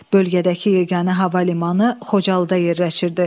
Bölgədəki yeganə hava limanı Xocalıda yerləşirdi.